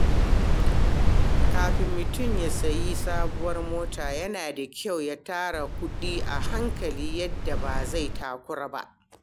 Kafin mutum ya sayi sabuwar mota, yana da kyau ya tara kuɗi a hankali yadda ba zai takura ba.